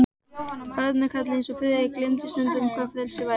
Barnakarlar eins og Friðrik gleymdu stundum, hvað frelsi væri.